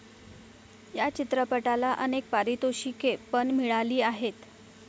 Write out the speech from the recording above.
या चित्रपटाला अनेक पारितोषिके पण मिळाली आहेत.